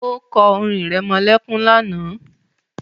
O kọ́ orin irẹmọlẹ́kún lánàá